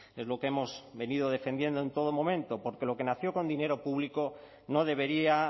es lo que hemos venido defendiendo en todo momento porque lo que nació con dinero público no debería